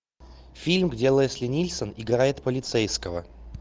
фильм где лесли нильсен играет полицейского